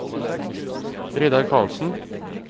Reidar Carlsen